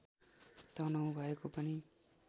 तनहुँ भएको पनि